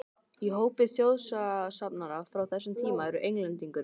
Í hópi þjóðsagnasafnara frá þessum tíma eru Englendingurinn